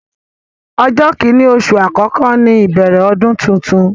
Ọjọ́ kini oṣù àkọ́kọ́ ní ìbẹ̀rẹ̀ ọdún tuntun.